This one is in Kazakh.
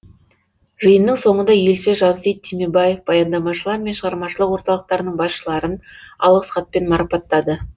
жиынның соңында елші жансейіт түймебаев баяндамашылар мен шығармашылық орталықтарының басшыларын алғыс хатпен марапаттады